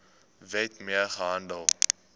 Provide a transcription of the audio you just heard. wet mee gehandel